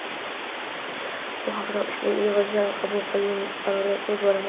Bu haqda ushbu yig‘ilishida qabul qilingan qarorda so‘z boradi.